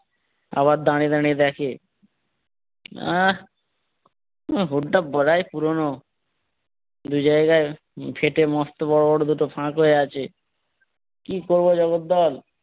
আবার দাঁড়িয়ে দাঁড়িয়ে দেখে আহ হুড্ডা বড়াই পুরোনো দু জায়গায় ফেটে মস্ত বড় বড় দুটো ফাক হয়ে আছে কি করবো জগদ্দল?